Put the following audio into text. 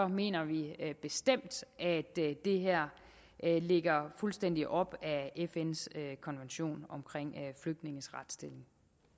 mener vi bestemt at det her ligger fuldstændig op ad fns konvention om flygtninges retsstilling